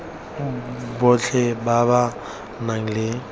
botlhe ba ba nang le